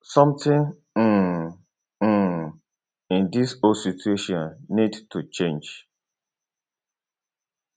somtin um um in dis whole situation need to change